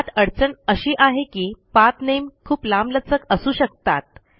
यात अडचण अशी आहे की पाठ नामे खूप लांबलचक असू शकतात